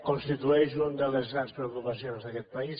constitueix una de les grans preocupacions d’aquest país